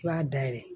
I b'a dayɛlɛ